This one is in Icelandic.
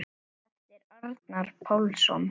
eftir Arnar Pálsson